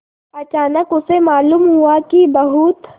अचानक उसे मालूम हुआ कि बहुत